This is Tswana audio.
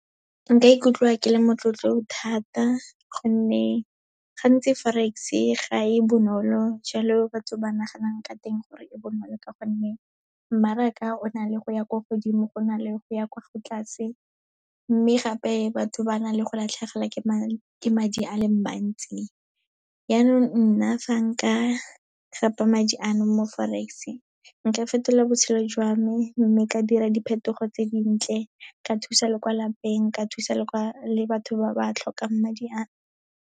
Nka ikutlwa ke le motlotlo thata, gonne gantsi Forex-e ga e bonolo jalo batho ba naganang ka teng gore e bonolo ka gonne, mmaraka o na le go ya kwa godimo, go na le go ya kwa tlase, mme gape, batho ba na le go latlhegelwa ke madi a leng mantsi. Yaanong nna fa nka gapa madi ano mo Forex-e, nka fetola botshelo jwa me, mme ka dira diphetogo tse dintle, ka thusa le kwa lapeng, ka thusa batho ba ba tlhokang madi ano.